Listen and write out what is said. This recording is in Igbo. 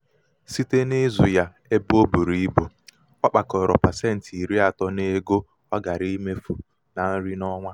um site n'ịzụ ya ebe ọ um buru ibu ọ kpakọrọ pasenti iri atọ n'ego ọ gaara emefu na nri n'ọnwa. um